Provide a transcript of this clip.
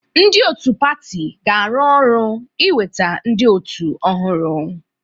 Ndị otu pati ga-arụ ọrụ iweta ndị otu ọhụrụ.